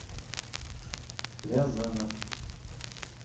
рязанов